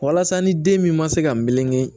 Walasa ni den min ma se ka meleke